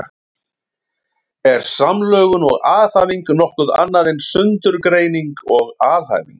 Eru samlögun og aðhæfing nokkuð annað en sundurgreining og alhæfing?